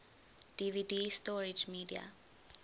dvd storage media